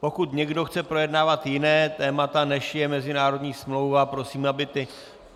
Pokud někdo chce projednávat jiná témata, než je mezinárodní smlouva, prosím, aby